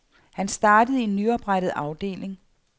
Han startede i en nyoprettet afdeling.